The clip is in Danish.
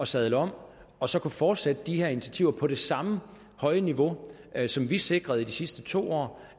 sadle om og så fortsætte de her initiativer på det samme høje niveau som vi sikrede i de sidste to år